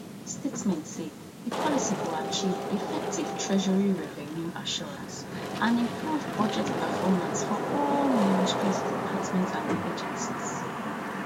di statement say di policy go achieve effective treasury revenue assurance and improve budget performance for all ministries departments and agencies